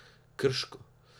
Krško?